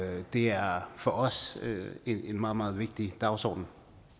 det er for os en meget meget vigtig dagsorden